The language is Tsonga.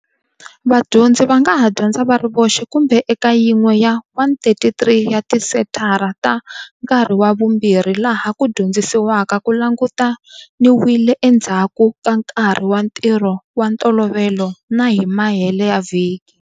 Vadyondzi va nga ha dyondza va ri voxe kumbe eka yin'we ya 133 ya tisenthara ta Nkarhi wa Vumbirhi laha ku dyondzisiwaka ku langutaniwile endzhaku ka nkarhi wa ntirho wa ntolovelo na hi mahele ya vhiki.